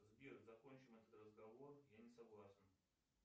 сбер закончим этот разговор я не согласен